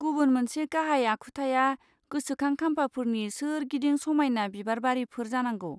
गुबुन मोनसे गाहाय आखुथाया गोसोखां खामफाफोरनि सोरगिदिं समायना बिबारबारिफोर जानांगौ।